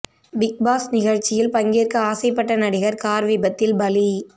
big Boss நிகழ்ச்சியில் பங்கேற்க ஆசைப்பட்ட நடிகர் கார் விபத்தில் பலி